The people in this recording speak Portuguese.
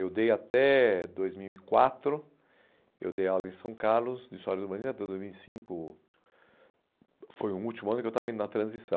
Eu dei até dois mil e quatro, eu dei aula em São Carlos, de história de Urbanização até dois mil e cinco, foi o último ano que eu estava indo na transição.